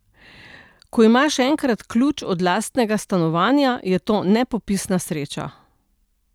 Ko imaš enkrat ključ od lastnega stanovanja, je to nepopisna sreča.